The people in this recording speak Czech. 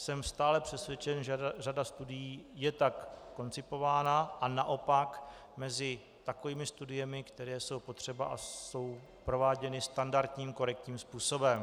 Jsem stále přesvědčen, že řada studií je tak koncipována a naopak mezi takovými studiemi, které jsou potřeba a jsou prováděny standardním korektním způsobem.